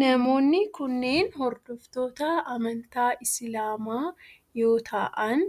Namoonni kunneen hordoftoota amantii islaamaa yoo ta'aan